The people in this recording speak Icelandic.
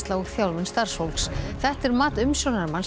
og þjálfun starfsfólks þetta er mat umsjónarmanns